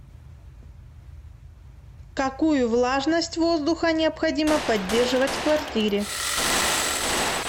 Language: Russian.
какую влажность воздуха необходимо поддерживать в квартире